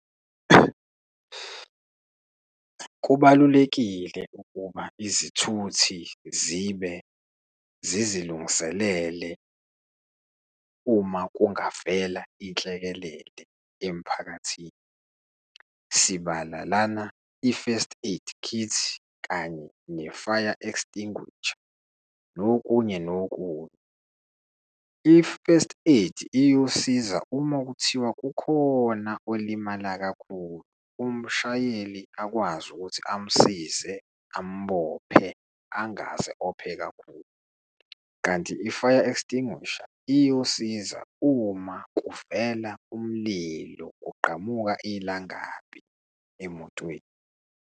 Kubalulekile ukuba izithuthi zibe zizilungiselele uma kungavela inhlekelele emphakathini, sibala lana i-first aid kit, kanye ne-fire extinguisher nokunye nokunye. I-first aid iyosiza uma kuthiwa kukhona olimala kakhulu, umshayeli akwazi ukuthi amsize, ambophe angaze ophe kakhulu, kanti i-fire extinguisher iyosiza uma kuvela umlilo, kuqqamuka ilangabi emotweni.